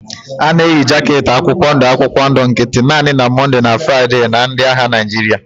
A na-emeri jaket akwụkwọ ndụ akwụkwọ ndụ nkịtị naanị na Mọnde na Fraịde na ndị agha Naịjirịa.